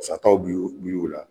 Sataw bɛ ye o la